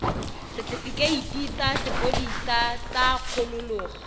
setefikeiti sa sepodisi sa kgololo